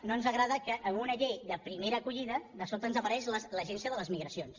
no ens agrada que en una llei de primera acollida de sobte ens apareix l’agència de les migracions